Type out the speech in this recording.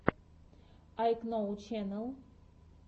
айкноу ченэл